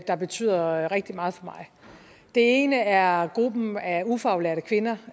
der betyder rigtig meget for mig den ene er gruppen af ufaglærte kvinder